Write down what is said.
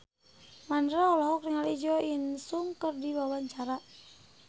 Mandra olohok ningali Jo In Sung keur diwawancara